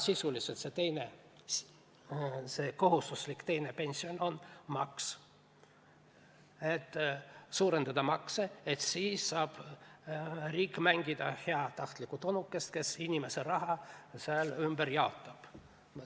Sisuliselt see kohustuslik teine pensionisammas on maks, aga soovides makse suurendada saab riik mängida heatahtlikku onukest, kes inimese raha sääl ümber jaotab.